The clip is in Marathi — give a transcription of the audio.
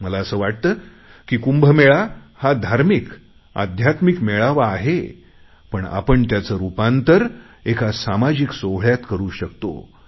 मला असं वाटते की कुंभमेळा हा धार्मिक अध्यात्मिक मेळावा आहे पण आपण त्याचे रुपांतर एका सामाजिक सोहळ्यात करु शकतो